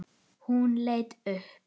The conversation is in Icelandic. Hún leit upp.